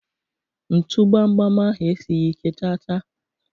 ntu gbam gbam ahụ esighị ike chaa chaa.